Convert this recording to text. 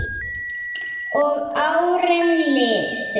Og árin liðu.